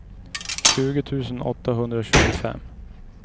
tjugo tusen åttahundratjugofem